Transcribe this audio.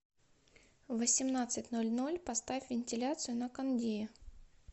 в восемнадцать ноль ноль поставь вентиляцию на кондее